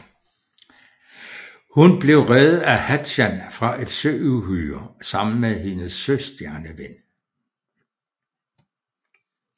Hun blev reddet af Hatchan fra et søuhyre sammen med hendes søstjerneven